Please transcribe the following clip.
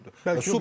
Bəlkə də güclüdür.